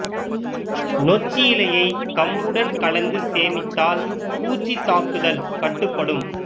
நொச்சி இலையை கம்புடன் கலந்து சேமித்தால் பூச்சி தாக்குதல் கட்டுப்படும்